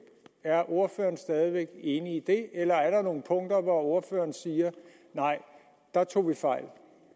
er ordføreren stadig væk enig i det eller er der nogle punkter hvor ordføreren siger nej der tog vi fejl